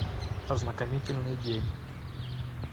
ознакомительный день